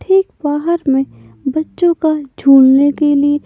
ठीक बाहर में बच्चों का झूलने के लिए--